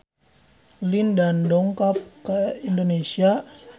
Lin Dan dongkap ka Indonesia